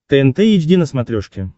тнт эйч ди на смотрешке